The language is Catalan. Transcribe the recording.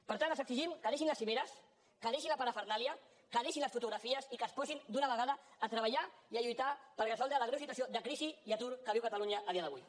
per tant els exigim que deixin les cimeres que deixin la parafernàlia que deixin les fotografies i que es posin d’una vegada a treballar i a lluitar per resoldre la greu situació de crisi i atur que viu catalunya a dia d’avui